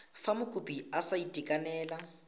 fa mokopi a sa itekanela